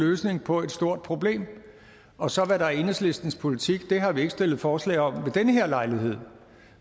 løsning på et stort problem og så hvad der er enhedslistens politik det har vi ikke stillet forslag om ved den her lejlighed